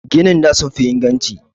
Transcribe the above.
Ginin da sun fi inganci.